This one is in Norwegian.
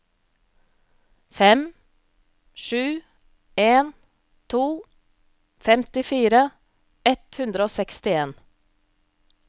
fem sju en to femtifire ett hundre og sekstien